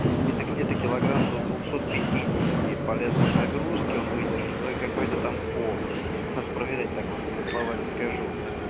это где-то килограмм до двухсот пятидесяти полезной нагрузки он выдержит ну и какой-то там пол надо проверять так вот на слова не скажу